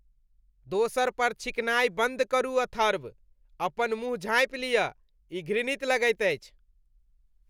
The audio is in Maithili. दोसर पर छींकनाय बन्द करू अथर्व। अपन मुँह झाँपि लिअ। ई घृणित लगैत अछि।